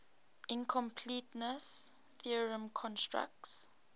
incompleteness theorem constructs